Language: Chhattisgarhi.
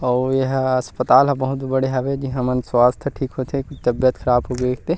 अऊ ऐह अस्पताल ह बहुत बड़े हबे जेहां हमन स्वस्थ ठीक होते तबियत खराब होगै ते --